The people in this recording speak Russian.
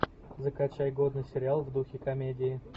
закачай годный сериал в духе комедии